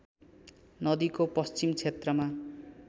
नदीको पश्चिम क्षेत्रमा